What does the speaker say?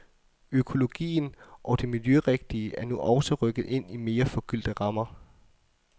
Økologien og det miljørigtige er nu også rykket ind i mere forgyldte rammer.